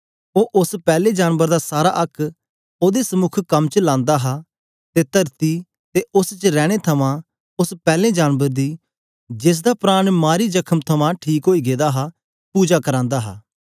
ओ ओस पैले जानबर दा सारा आक्क ओदे समुक कम च लांदा हा ते तरती ते उस्स च रैने थमां उस्स पैलैं जानबर दी जेसदा प्राण मारी जखम ठीक ओई गेदा हा पुजा करांदा हा